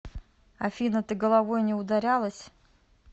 афина ты головой не ударялась